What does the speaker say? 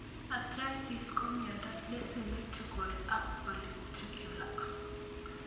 Atrhritis ko miondo ne symmetrical ak polyarticular